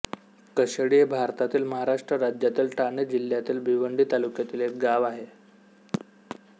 कशेळी हे भारतातील महाराष्ट्र राज्यातील ठाणे जिल्ह्यातील भिवंडी तालुक्यातील एक गाव आहे